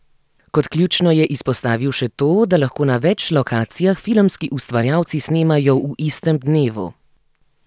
Kot ključno je izpostavil še to, da lahko na več lokacijah filmski ustvarjalci snemajo v istem dnevu.